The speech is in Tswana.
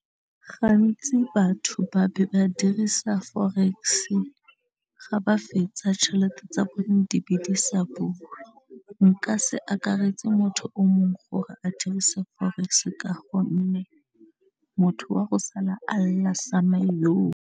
Gantsi batho ba be ba dirisa forex-e ga ba fetsa tšhelete tsa bone di be di sa bone, nka se akaretse motho o mongwe gore a dirisa forex ka gonne motho wa go sala a la sa mma iyooh.